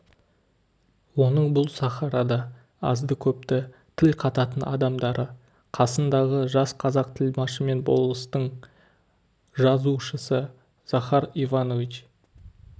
оның бұл сахарада азды-көпті тіл қататын адамдары қасындағы жас қазақ тілмашы мен болыстың жазушысы захар иванович